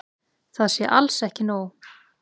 Það sé alls ekki nóg.